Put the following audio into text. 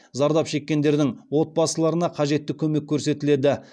зардап шеккендердің отбасыларына қажетті көмек көрсетіледі